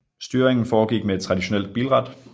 Styringen forgik med et traditionelt bilrat